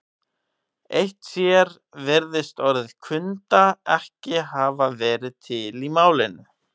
Eitt sér virðist orðið kunda ekki hafa verið til í málinu.